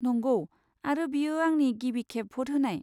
नंगौ, आरो बेयो आंनि गिबि खेब भ'ट होनाय।